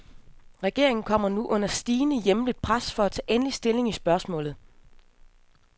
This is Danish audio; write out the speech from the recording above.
Regeringen kommer nu under stigende hjemligt pres for at tage endelig stilling i spørgsmålet.